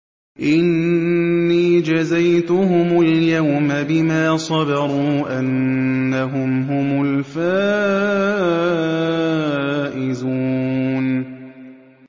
إِنِّي جَزَيْتُهُمُ الْيَوْمَ بِمَا صَبَرُوا أَنَّهُمْ هُمُ الْفَائِزُونَ